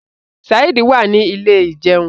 Saheed wá ní Ilé ìjẹun.